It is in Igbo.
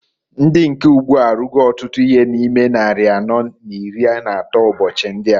Ndi nke ugbu a arụgo ọtụtụ ihe na ime nnari anọọ n'iri n'atọ ụbọchị ndịa.